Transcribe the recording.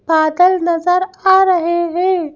बादल नजर आ रहा है।